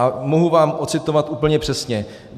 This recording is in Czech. A mohu vám ocitovat úplně přesně.